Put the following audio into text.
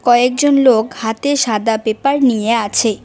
কয়েকজন লোক হাতে সাদা পেপার নিয়ে আছে।